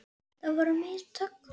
Það voru mistök.